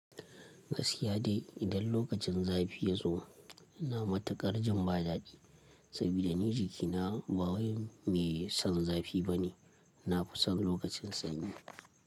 Gaskiya dai idan lokacin zafi ya zo, ina matuƙar jin ba daɗi saboda ni jikina ba wai mai son zafi bane. Na fi son lokacin sanyi.